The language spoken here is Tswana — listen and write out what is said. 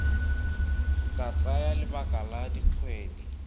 ka tsaya lebaka la dikgwedi